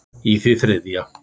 í því þriðja.